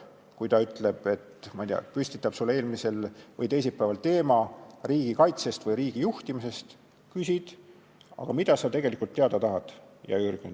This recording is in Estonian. Kui ta on saatnud sulle teisipäeval küsimuse teemana "Riigi kaitsest" või "Riigi juhtimisest", siis sa küsid talt, et aga mida sa tegelikult teada tahad, hea Jürgen.